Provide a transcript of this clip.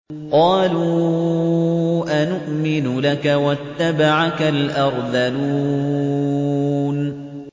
۞ قَالُوا أَنُؤْمِنُ لَكَ وَاتَّبَعَكَ الْأَرْذَلُونَ